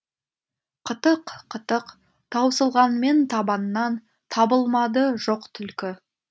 қытық қытық таусылғанмен табаннан табылмады жоқ түлкі